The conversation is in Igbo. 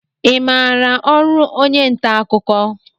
I maara ọrụ onye nta akụkọ?